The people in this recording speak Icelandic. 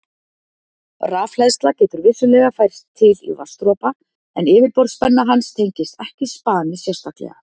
Rafhleðsla getur vissulega færst til í vatnsdropa en yfirborðsspenna hans tengist ekki spani sérstaklega.